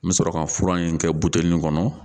N bɛ sɔrɔ ka fura in kɛ buteli in kɔnɔ